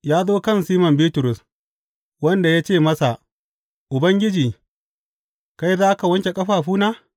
Ya zo kan Siman Bitrus, wanda ya ce masa, Ubangiji, kai za ka wanke ƙafafuna?